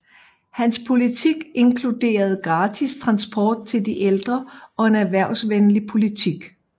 Hans politik inkluderede gratis transport til de ældre og en erhvervsvenlig politik